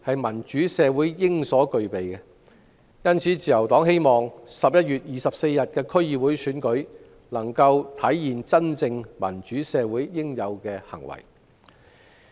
民主社會應有公平公正的選舉，因此，自由黨希望11月24日的區議會選舉能夠體現民主社會應有的行為。